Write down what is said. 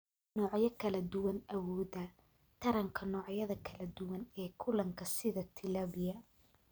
Noocyo kala duwan Awoodda taranka noocyada kala duwan ee kalluunka sida tilapia.